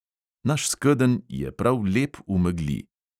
Naš skedenj je prav lep v megli.